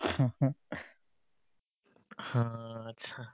হা achcha